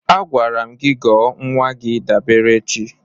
Agwara m gị gọọ nwa gị Daberechi!